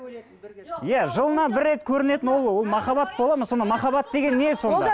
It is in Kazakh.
иә жылына бір рет көрінетін ол ол махаббат болады ма сонда махаббат деген не сонда